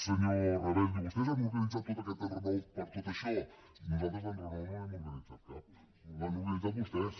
senyor rabell diu vostès han organitzat tot aquest enrenou per tot això nosaltres d’enrenou no n’hem organitzat cap l’han organitzat vostès